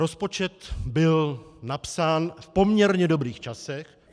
Rozpočet byl napsán v poměrně dobrých časech.